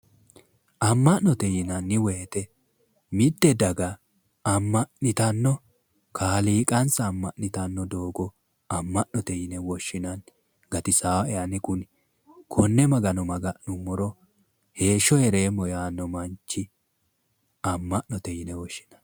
Ama'note yinnanni woyte, mite daga ama'nittano kaaliiqansa ama'nittano doogo ama'note yinne woshshineemmo, amo'no baxisae kone Magano maga'nuummoro heeshsho heereemmo yanno manchi ama'note yinne woshshinanni